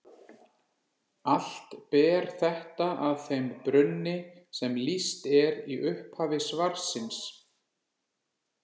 Allt ber þetta að þeim brunni sem lýst er í upphafi svarsins.